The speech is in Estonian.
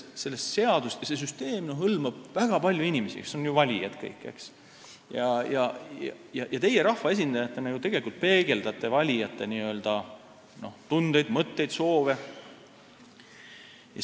See süsteem hõlmab väga palju inimesi, kes kõik on ju valijad, ja teie rahvaesindajatena tegelikult peegeldate valijate n-ö tundeid, mõtteid, soove.